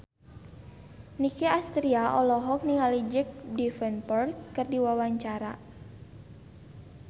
Nicky Astria olohok ningali Jack Davenport keur diwawancara